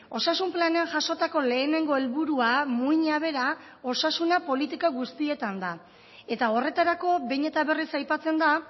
osasun planean jasotako lehenengo helburua muina bera osasuna politika guztietan da eta horretarako behin eta berriz aipatzen da